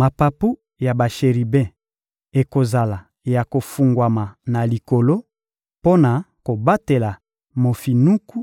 Mapapu ya basheribe ekozala ya kofungwama na likolo mpo na kobatela mofinuku;